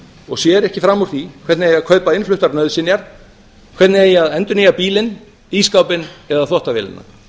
og sér ekki fram úr því hvernig eigi að kaupa innfluttar nauðsynjar hvernig eigi að endurnýja bílinn ísskápinn eða þvottavélina